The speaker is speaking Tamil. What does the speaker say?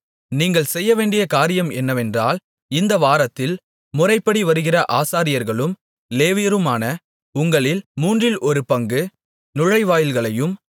நீங்கள் செய்யவேண்டிய காரியம் என்னவென்றால் இந்தவாரத்தில் முறைப்படி வருகிற ஆசாரியர்களும் லேவியருமான உங்களில் மூன்றில் ஒரு பங்கு நுழைவாயில்களையும்